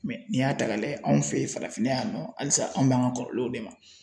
Mɛ n'i y'a ta k'a lajɛ anw fe ye farafinna yan nɔ halisa anw b'an ka kɔrɔlenw de ma